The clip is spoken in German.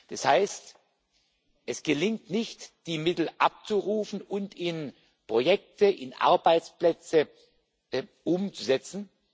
Das heißt, es gelingt nicht, die Mittel abzurufen und in Projekte, in Arbeitsplätze umzusetzen.